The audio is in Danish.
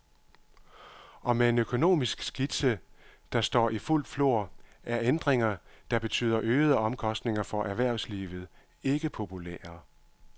Og med en økonomisk krise, der står i fuldt flor, er ændringer, der betyder øgede omkostninger for erhvervslivet, ikke populære.